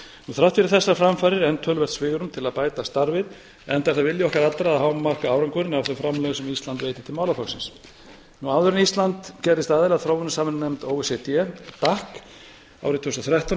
þrátt fyrir þessar framfarir er enn töluvert svigrúm til að bæta starfið enda er það vilji okkar allra að hámarka árangurinn af þeim framlögum sem ísland veitir til málaflokksins áður en ísland gerðist aðili að þróunarsamvinnunefnd o e c d dac árið tvö þúsund og þrettán